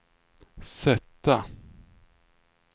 sätta